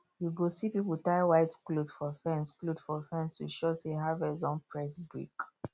you go see people tie white cloth for fence cloth for fence to show say harvest don press brake